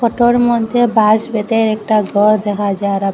এটোর মধ্যে বাঁশ বেঁধের একটা ঘর দেখা যার ।